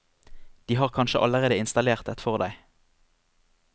De har kanskje allerede innstallert et for deg.